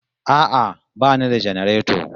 A'a bani da janareto